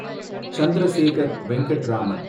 Chandrasekhar Venkat Raman